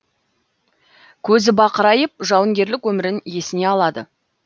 көзі бақырайып жауынгерлік өмірін есіне алды